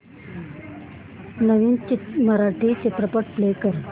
नवीन मराठी चित्रपट प्ले कर